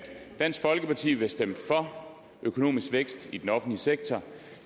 dansk folkeparti vil stemme for økonomisk vækst i den offentlige sektor